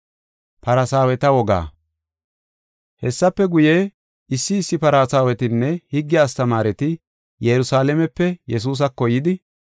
Hessafe guye, issi issi Farsaawetinne higge astamaareti Yerusalaamepe Yesuusako yidi,